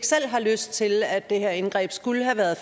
selv har lyst til at det her indgreb skulle have været